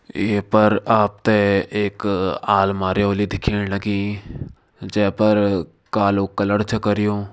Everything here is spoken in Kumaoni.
ये पर आपते एक आलमारी होली दिखेण लगीं जे पर कालो कलर छ कर्यों।